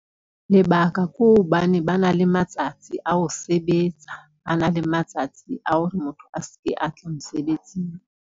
Lebaka ke hobane ba na le matsatsi ao sebetsa, ba na le matsatsi a hore motho a seke a tla mosebetsing.